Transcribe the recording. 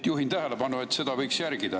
Juhin tähelepanu, et seda võiks järgida.